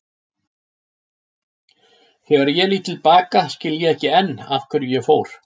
Þegar ég lít til baka skil ég ekki enn af hverju ég fór.